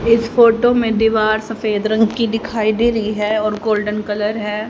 इस फोटो में दीवार सफेद रंग की दिखाई दे रही है और गोल्डन कलर है।